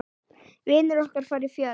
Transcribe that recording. Vinir okkar fara fjöld.